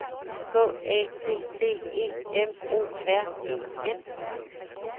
K A T T E M O R E N